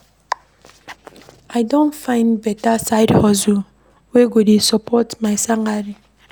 I don find beta side hustle wey go dey support my salary.